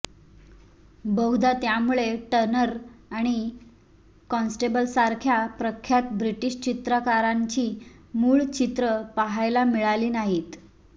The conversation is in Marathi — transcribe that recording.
बहुधा त्यामुळे टर्नर आणि कॉन्स्टेबलसारख्या प्रख्यात ब्रिटिश चित्रकारांची मूळ चित्रं पाहायला मिळाली नाहीत